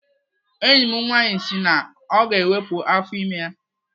Enyi m nwaanyị si na ọ ga-ewepụ afọ ime ya.